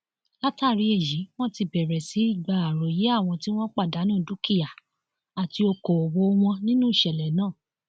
látàrí èyí wọn ti bẹrẹ sí í gba àròyé àwọn tí wọn pàdánù dúkìá àti ọkọọwọ wọn nínú ìṣẹlẹ náà